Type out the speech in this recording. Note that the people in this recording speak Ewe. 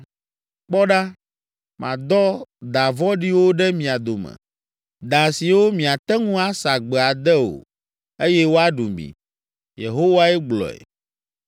“Kpɔ ɖa, madɔ da vɔ̃ɖiwo ɖe mia dome. Da siwo miate ŋu asa gbe ade o eye woaɖu mi.” Yehowae gblɔe.